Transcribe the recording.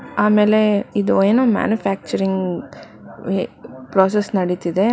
ಆಮೇಲೆ ಇದು ಏನು ಮ್ಯಾನುಫ್ಯಾಕ್ಚರಿಂಗ್ ವೆ --ಪ್ರಾಸೆಸ್ ನಡೀತಿದೆ